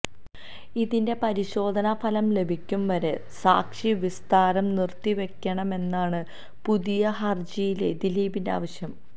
ഇതിന്റെ പരിശോധനാ ഫലം ലഭിക്കും വരെ സാക്ഷി വിസ്താരം നിര്ത്തിവെക്കണമെന്നാണ് പുതിയ ഹര്ജിയിലെ ദിലീപിന്റെ ആവശ്യം